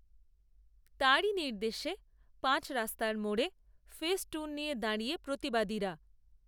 তাঁরই নির্দেশে পাঁচ রাস্তার মোড়ে, ফেস্টুন নিয়ে দাঁড়িয়ে প্রতিবাদীরা